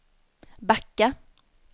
backa